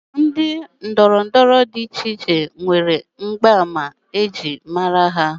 Ndị ndọrọndọrọ dị icheiche nwere mgbaàmà ejiri mara ha